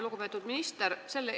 Lugupeetud minister!